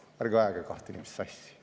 Ärge ajage kahte inimest sassi.